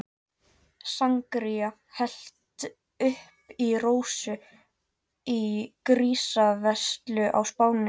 Sangría hellt upp í Rósu í grísaveislu á Spáni.